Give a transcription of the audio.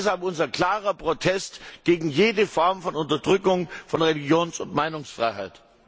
Deshalb unser klarer Protest gegen jede Form von Unterdrückung von Religions und Meinungsfreiheit!